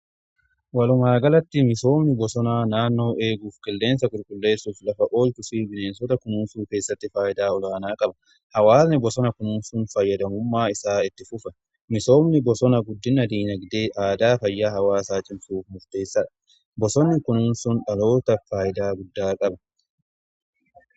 Walumaagalatti misoomni bosonaa naannoo eeguuf qilleensa qulqulleessuuf lafa ol kusii bineensota kunuunsuu keessatti faayidaa olaanaa qaba. Hawaasni bosona kunuunsun fayyadamummaa isaa itti fufe misoomni bosona guddin diinagdee aadaa fayyaa hawaasaa cimsuuf murteessaadha. Bosonna kunuunsuun dhalootaaf faayidaa guddaa qaba.